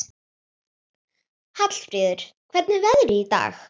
Hallfríður, hvernig er veðrið í dag?